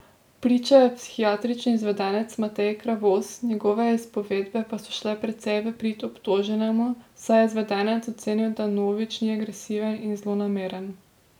Pričal je psihiatrični izvedenec Matej Kravos, njegove izpovedbe pa so šle precej v prid obtoženemu, saj je izvedenec ocenil, da Novič ni agresiven in zlonameren.